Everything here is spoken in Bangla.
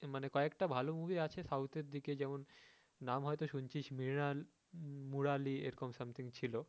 মানে কয়েকটা ভালো movie আছে south এর দিকে যেরকম নাম হয়তো শুনছিস মৃণাল মুরালি এরকম something কিছু ছিলো